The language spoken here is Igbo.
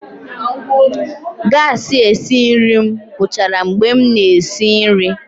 gasi esi nri m gwuchara mgbe m na-esi nri.